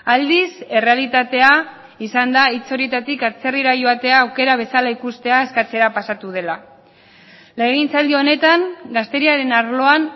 aldiz errealitatea izan da hitz horietatik atzerrira joatea aukera bezala ikustea eskatzera pasatu dela legegintzaldi honetan gazteriaren arloan